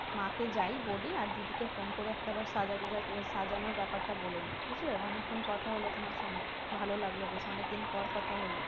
মাকে যাই বলি আর দিদি কে phone করে একটা বার সাজা গোজার প্রয়োজন সাজানোর ব্যাপারটা বলে নেই বুঝলে অনেক্ষন কথা হলো তোমার সঙ্গে ভালোই লাগল বেশ অনেক দিন পর কথা হলো